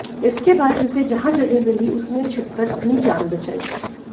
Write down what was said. इसके बाद जिसे जहां जगह मिली उसने छिपकर अपनी जान बचाई